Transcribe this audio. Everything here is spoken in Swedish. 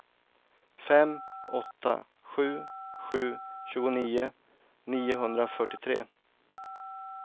fem åtta sju sju tjugonio niohundrafyrtiotre